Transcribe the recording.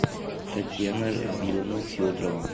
татьяна равиловна федорова